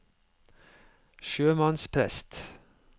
sjømannsprest